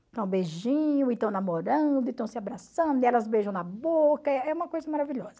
beijinho, e estão namorando, estão se abraçando, e elas beijam na boca, é uma coisa maravilhosa.